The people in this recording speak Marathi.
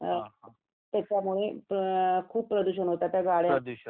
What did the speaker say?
त्याच्यामुळे खूप प्रदूषण होतंय त्या गाड्या